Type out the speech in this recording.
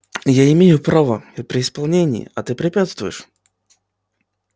я имею право я при исполнении а ты препятствуешь